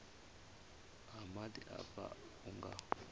ha maḓi afha hu nga